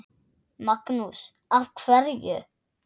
Magnús: Af hverju?